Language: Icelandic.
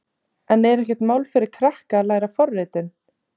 En er ekkert mál fyrir krakka að læra forritun?